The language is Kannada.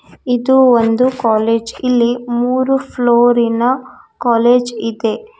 ಇದು ಒಂದು ಕಾಲೇಜ್ ಇಲ್ಲಿ ಮೂರು ಫ್ಲೋರಿ ನ ಕಾಲೇಜ್ ಇದೆ.